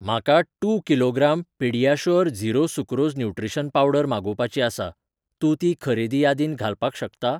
म्हाका two kilogram PediaSure zero sucrose nutrition powder मागोवपाची आसा, तूं ती खरेदी यादीत घालपाक शकता?